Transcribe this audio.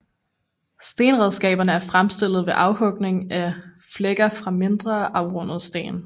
Stenredskaberne er fremstillet ved afhugning af flækker fra mindre afrundede sten